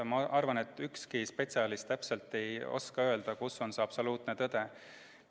Ma arvan, et ükski spetsialist ei oska täpselt öelda, kus on see absoluutne tõde.